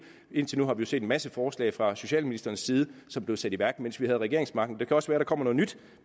indtil nu har vi set en masse forslag fra socialministerens side om som blev sat i værk mens vi havde regeringsmagten det kan også være der kommer noget nyt